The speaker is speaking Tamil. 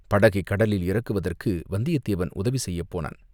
படகைக் கடலில் இறக்குவதற்கு வந்தியத்தேவன் உதவி செய்யப்போனான்.